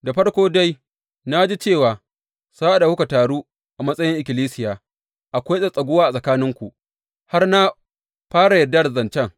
Da farko dai, na ji cewa sa’ad da kuka taru a matsayin ikkilisiya, akwai tsattsaguwa a tsakaninku, har na fara yarda da zancen.